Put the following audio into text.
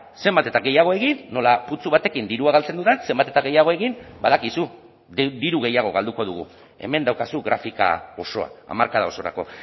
zenbat eta gehiago egin nola putzu batekin dirua galtzen dudan zenbat eta gehiago egin badakizu diru gehiago galduko dugu hemen daukazu grafika osoa hamarkada osorako